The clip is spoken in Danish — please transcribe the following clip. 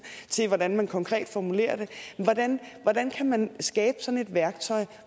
til hvordan man konkret formulerer det hvordan kan man skabe sådan et værktøj